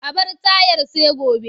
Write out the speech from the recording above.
A bar tayar sai gobe.